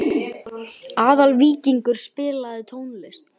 Aðalvíkingur, spilaðu tónlist.